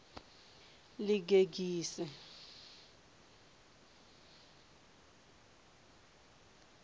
ḽigegise